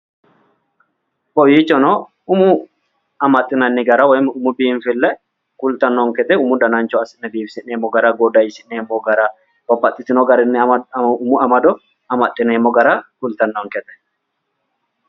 Kowiichono umu amaxxinanni gara woyi umu biinfille kultannonkete. Umu danancho assine biifisi'neemmo gara goodayyisi'neemmo gara babbaxxitino garinni umu amado amaxxinneemmo gara kultannonkete.